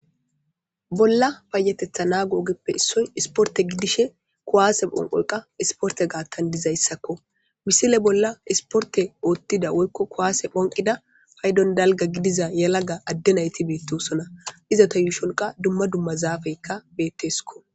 Bolla fayatetha naa googeppe issoy isporte giddishe kuwaase phonqoyqa isporte gaattan dizayssakko misile bolla isporte oottida woykko kuwaase phonqida paydon dalga gidiza yalaga adde nayti beettosona iza ta yuushonqa dumma dumma zaafeykka beettesko